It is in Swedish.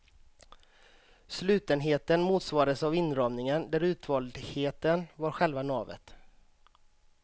Slutenheten motsvarades av inramningen, där utvaldheten var själva navet.